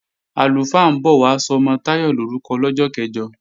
Àlùfáà ń bọ̀ wá sọmọ Táyọ̀ lorúkọ lọ́jọ́ kẹ̀jọ